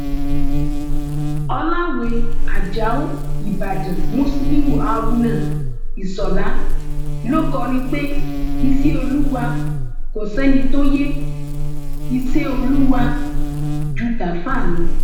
ọlàwé ajáò ìbàdàn musiliu haruna iṣọlá ló kọrin pé iṣẹ olúwa kò sẹni tó yẹ iṣẹ olúwa ju tààfà lọ